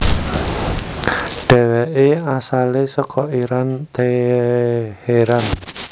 Dheweke asale saka Iran Teheran